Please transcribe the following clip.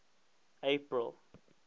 april